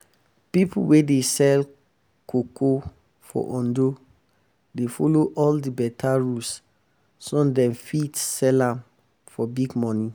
people wey um dey sell cocoa for ondo dey follow um all the better rule so dem fit sell am for um big money.